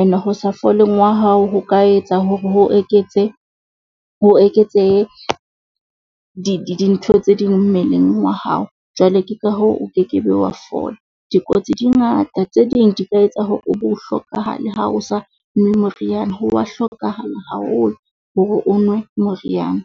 E ne ho sa foleng wa hao ho ka etsa hore ho eketse ho eketsehe dintho tse ding mmeleng wa hao. Jwale ke ka hoo, o kekebe wa fola dikotsi di ngata, tse ding di ka etsa hore o bo hlokahale ha o sa nwe moriana. Ho wa hlokahala haholo hore o nwe moriana.